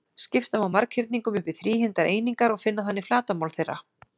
Skipta má marghyrningum upp í þríhyrndar einingar og finna þannig flatarmál þeirra.